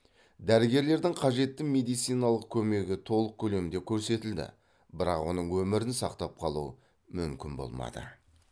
дәрігерлердің қажетті медициналық көмегі толық көлемде көрсетілді бірақ оның өмірін сақтап қалу мүмкін болмады